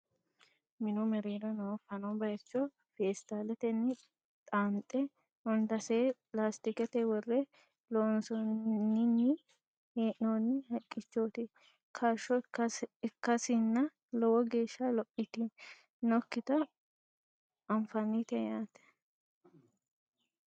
minu mereero noo fano bayecho feetsaaletenni xaanxe hundase laastikete worre lossinanni hee'noonni haqqichote kaashsho ikkasinna lowo geeshsha lophitinokkita anfannite yaate